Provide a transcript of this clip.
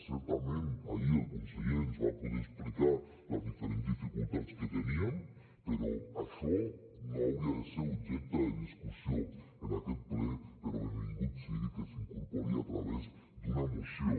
certament ahir el conseller ens va poder explicar les diferents dificultats que teníem però això no hauria de ser objecte de discussió en aquest ple però benvingut sigui que s’incorpori a través d’una moció